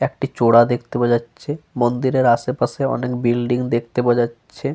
একটি চড়া দেখতে পাওয়া যাচ্ছে। মন্দিরের আসে পাশে অনেক বিল্ডিং দেখতে পাওয়া যাচ্ছে।